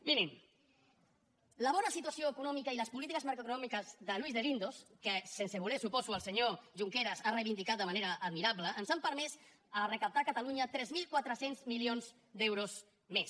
mirin la bona situació econòmica i les polítiques macroeconòmiques de luis de guindos que sense voler suposo el senyor junqueras ha reivindicat de manera admirable ens han permès recaptar a catalunya tres mil quatre cents milions d’euros més